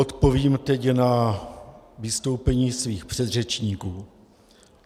Odpovím teď na vystoupení svých předřečníků.